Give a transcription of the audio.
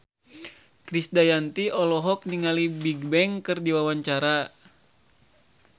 Krisdayanti olohok ningali Bigbang keur diwawancara